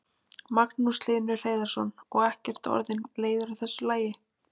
Magnús Hlynur Hreiðarsson: Og ekkert orðinn leiður á þessu lagi?